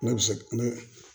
Ne bɛ se ne